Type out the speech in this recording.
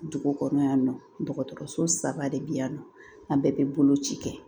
Dugu kɔnɔ yan nɔ dɔgɔtɔrɔso saba de bɛ yan nɔ an bɛɛ bɛ boloci kɛ